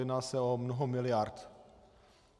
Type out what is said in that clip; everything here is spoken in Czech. Jedná se o mnoho miliard.